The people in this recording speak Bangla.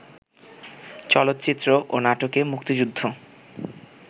চলচ্চিত্র ও নাটকে মুক্তিযুদ্ধ